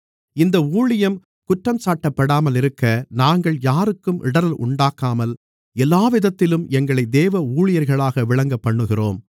இந்த ஊழியம் குற்றஞ்சாட்டப்படாமல் இருக்க நாங்கள் யாருக்கும் இடறல் உண்டாக்காமல் எல்லாவிதத்திலும் எங்களை தேவ ஊழியர்களாக விளங்கப்பண்ணுகிறோம்